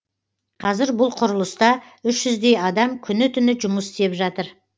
қазір бұл құрылыста үш жүздей адам күні түні жұмыс істеп жатыр